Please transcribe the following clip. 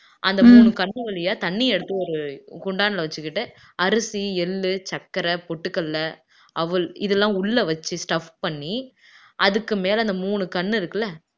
அந்த மூணு கண்ணு வழியா தண்ணி எடுத்து ஒரு குண்டான்ல வச்சுக்கிட்டு அரிசி, எள்ளு, சர்க்கரை, பொட்டுக்கடலை, அவல் இதெல்லாம் உள்ள வச்சு stuff பண்ணி அதுக்குமேல அந்த மூணு கண்ணு இருக்குல்ல